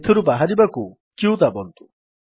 ଏଥିରୁ ବାହାରିବାକୁ q ଦାବନ୍ତୁ